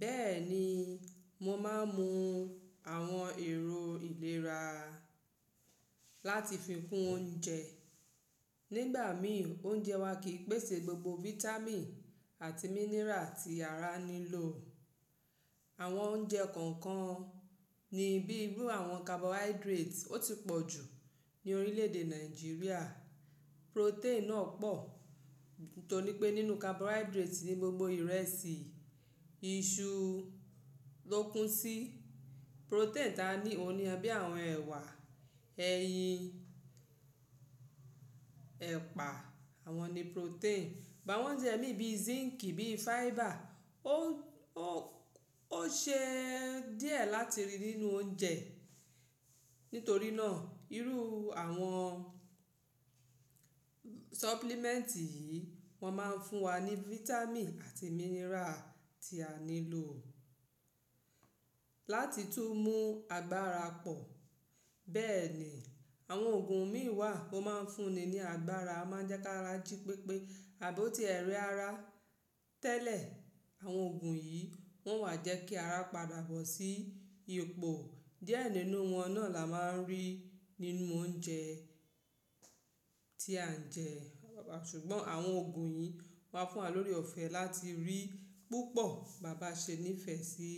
Bẹ́ẹ̀ ni, mo máa ń mu àwọn èrò ìlera láti fi kún oúnjẹ. Nígbà mí, oúnjẹ wa kì í pèsè gbogbo vitamin àti mineral tí ara nílò. Àwọn oúnjẹ kọ̀ọ̀kan ni bíi irú àwọn carbohydrate, ó ti pọ̀ jù ní orílẹ̀èdè Nàìjíríà. Protein náà pọ̀ nítorí pé nínú carbohydrate ni gbogbo ìrẹsì, iṣu ló kún sí. Protein táa ní òun ni ẹbí àwọn ẹ̀wà, ẹyin, ẹ̀pà, àwọn ni protein. Ìbá wọn oúnjẹ mí bí zinc bí fiber ó, ó, ó ṣe díẹ̀ láti rí nínú oúnjẹ. Nítorí náà, irú àwọn supplement yìí wọ́n máa ń fún wa ní vitamin àti mineral tí a nílò. Láti tún mú agbára pọ̀. Bẹ́ẹ̀ ni, àwọn òògùn mìí wà, ó máa ń fúnni ní agbára, o máa jẹ́ kí ara jí pépé. Àbi o tí ẹ̀ re ara tẹ́lẹ̀, àwọn òògùn yìí wọ́n wà jẹ́ kí ara padà bọ̀ sí ipò díẹ̀ nínú wọn náà la máa ń rí nínú oúnjẹ tí à ń jẹ ṣùgbọ́n àwọn òògùn yìí máa fún wa lórí ọ̀fẹ́ láti rí púpọ̀. Bàbá ṣe ní ìfẹ́ sí.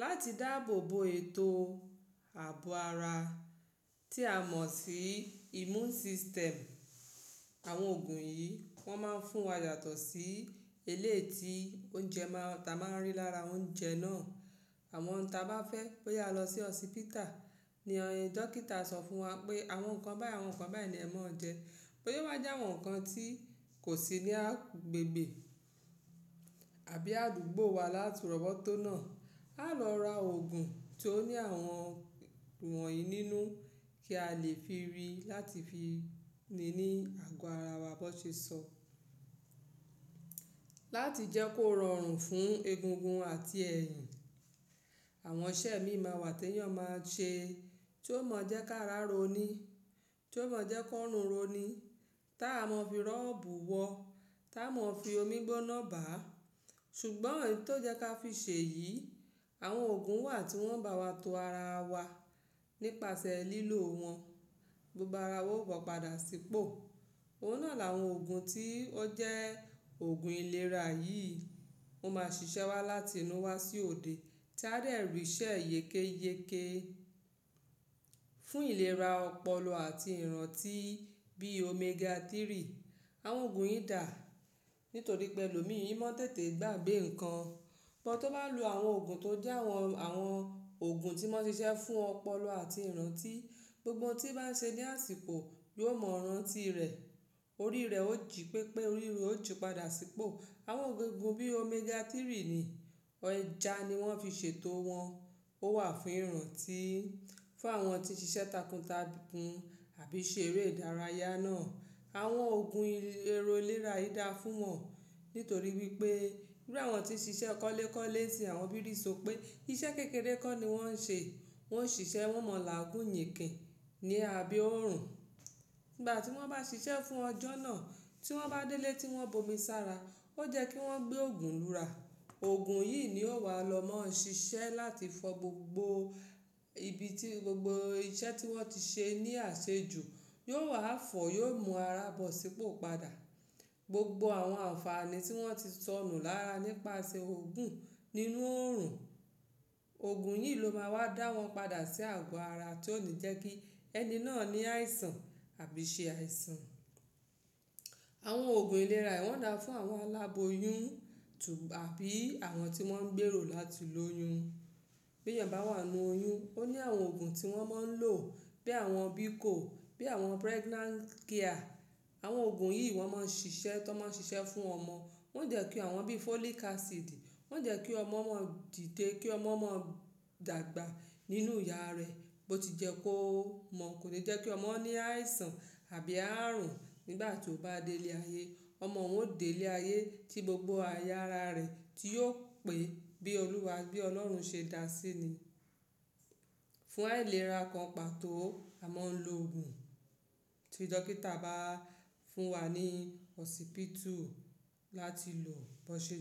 Láti dáàbò bo ètò ààbò ara tí a mọ̀ sí immune system. Àwọn òògùn yìí wọn máa ń fún wa yàtọ̀ sí eléyi ti oúnjẹ máa, ta máa ń rí lára oúnjẹ náà. Àwọn ohun ta bá fẹ́ pé a lọ sí osipita ni ọ̀in, dókítà a sọ fún wa pé àwọn nǹkan báyìí, àwọn nǹkan báyìí ni ẹ má jẹ, boya o wa jẹ́ àwọn nǹkan tí kò sí ní agbègbè àbí àdúgbò wa láti rọbọ tónà. A lọ ra òògùn tó ní àwọn wọ̀nyí nínú kí a lè fi rí láti fi ni ní àgọ ara wa bón ṣe sọ. Láti jẹ́ kó rọrùn fún egungun àti ẹ̀yìn. Àwọn iṣẹ́ míì máa wà tí èèyàn máa ṣe tí ó mọ jẹ́ kí ara ró ni. Tí ó mọ jẹ́ ki orun ró ni. Tí a wa mọ fi rọ́ọ̀bù wọ. Tí a mọ fi omi gbóná bá. Ṣùgbọ́n èyí tó jẹ́ ká fi ṣe yìí, àwọn òògùn wà tí wọ́n bá wa to ara wa nípasẹ̀ lílò wọn. Gbogbo ara wa ó bo padà sípò. Òun náà làwọn òògùn tí ó jẹ́ òògùn ìlera yíì. Ó máa ṣiṣẹ́ wá láti inú wa sí òde tí a dẹ̀ rí iṣẹ́ e yékéyéké. Fún ìlera ọpọlọ àti ìrántí bí omega 3. Àwọn òògùn yìí dà, nítorí pé èlòmi ii mọ́ tètè gbàgbé nǹkan. But, tó bá n lo àwọn òògùn tó jẹ́ àwọn, àwọn òògùn tí mo n ṣiṣẹ́ fún ọpọlọ àti ìrántí, gbogbo ohun tí bá ń ṣe ní àsìkò yóò mọ ìrántí rẹ̀. Orí rẹ̀ ó jí pépé, orí iru e ó jí padà sípò. Àwọn òogun ego bí omega 3 ni, ẹja ni wọ́n fi ṣètò wọn. Ó wà fún ìrántí, fún àwọn tí ń ṣiṣẹ́ takuntakun àbí ṣe eré ìdárayá náà. Àwọn òògùn ero-- ìlera yìí dà fún wọn nítorí wípé bí àwọn tí ń ṣiṣẹ́ kọ́lékọ́lé tí àwọn bírìsọpé iṣẹ́ kékeré kọ́ ni wọ́n ń ṣe. Wọn ń ṣiṣẹ́, wọ́n o mọ làágún yìnkìn ní àbe órùn. Ìgbà tí wọ́n bá ṣiṣẹ́ fún ọjọ́ náà tí wọ́n bá délé tí wọ́n bomi sára, ó yẹ́ kí wọ́n gbé òògùn lura. Òògùn yìí ni ó wà lọ máa ń ṣiṣẹ́ láti fọ gbogbo ibi tí gbogbo iṣẹ́ tí wọ́n ti ṣe ní àṣejù yóò wà fọ̀ yóò mú ara bọ̀ sípò padà. Gbogbo àwọn àǹfààní tí wọ́n ti sọnù lára nípasẹ̀ òògùn nínú órùn. Òògùn yìí ló máa wá dá wọn padà sí àgọ ara tí ó ní jẹ́ kí ẹni náà ní àìsàn àbí ṣe àìsàn. Àwọn òògùn ìlera yìí wọ́n dà fún àwọn aláboyún tún àbí àwọn tí wọ́n ń gbèrò láti lóyún. Bí èèyàn bá wà nínú oyún, ó ní àwọn òògùn tí wọ́n máa ń lò bí àwọn Bico, bí àwọn Pregnant Care. Àwọn òògùn yìí wọ́n máa ń ṣiṣẹ́, tí wọ́n máa ń ṣiṣẹ́ fún ọmọ. Wọ́n jẹ́ kí àwọn bí folic acid, wọ́n jẹ́ kí ọmọ mọ́ dìde, kí ọmọ mọ́ dàgbà nínú ìyá rẹ̀ bó ti jẹ́ kó mọ̀ kò ní jẹ́ kí ọmọ ní àìsàn àbí arùn nígbà tí ó bá délé ayé. Ọmọ òun ó délé ayé tí gbogbo àyà ara rẹ̀ tí yóò pé bí Olúwa, bí Ọlọ́run ṣe dá a sí ni. Fún àìlera kan pàtó, a máa ń lo òògùn tí dókítà bá fún wa ní osipitu láti lò bó ṣe.